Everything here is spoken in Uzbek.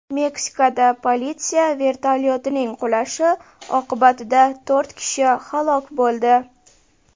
Meksikada politsiya vertolyotining qulashi oqibatida to‘rt kishi halok bo‘ldi.